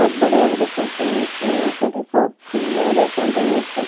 ବହୁତ ବଢିଆ ଭାବରେ ସଜାହେଇଛି ଆଗରେ ବହୁତ ଫୁଲରେ ସଜା ହେଇଛି ।